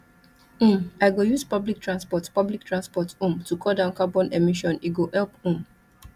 um i go use public transport public transport um to cut down carbon emission e go help um